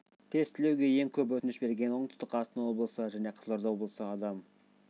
тестілеуге ең көп өтініш берген оңтүстік қазақстан облысы және қызылорда облысы адам